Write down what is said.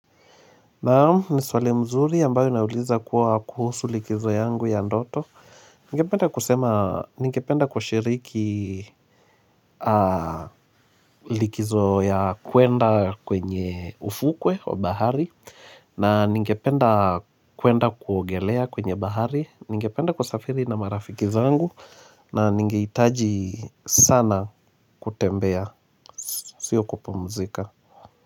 Naamu, ni swali mzuri ambayo inauliza kuwa kuhusu likizo yangu ya ndoto. Ningependa kusema, ningependa kushiriki likizo ya kwenda kwenye ufukwe wa bahari. Na ningependa kwenda kuogelea kwenye bahari. Ningependa kusafiri na marafiki zangu na ningehitaji sana kutembea, sio kupumzika.